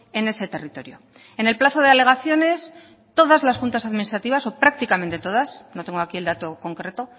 en ese territorio en el plazo de alegaciones todas las juntas administrativas o prácticamente todas no tengo aquí el dato concreto